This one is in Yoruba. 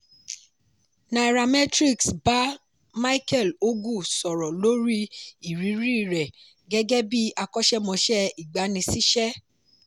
nairametrics ba micheal ogu sọ̀rọ̀ lori iriri rẹ̀ gẹ́gẹ́ bí akọ́ṣẹ́mọsẹ́ ìgbaniṣíṣẹ́.